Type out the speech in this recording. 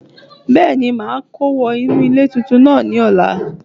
Bẹ́èni màá kó wọ inú ilé tuntun náà ní ọ̀la